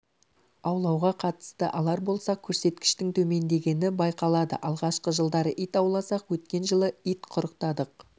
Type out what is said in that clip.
аулауға қатысты алар болсақ көрсеткіштің төмендегені байқалады алғашқы жылдары ит ауласақ өткен жылы ит құрықтадық